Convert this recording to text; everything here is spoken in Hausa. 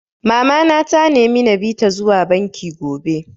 Mama na ta nemi na bi ta zuwa banki gobe